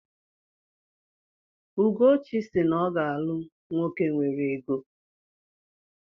Ugochi si na ọ ga-alụ nwoke nwere ego.